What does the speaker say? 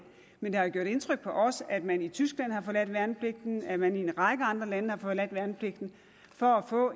men det har gjort indtryk på os at man i tyskland har forladt værnepligten at man i en række andre lande har forladt værnepligten for at få